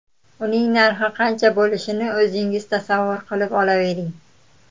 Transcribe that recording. Uning narxi qancha bo‘lishini o‘zingiz tasavvur qilib olavering.